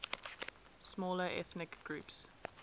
smaller ethnic groups